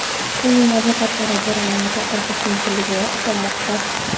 Uning advokatlari jarayonni to‘xtatish mumkinligiga ishonmoqda.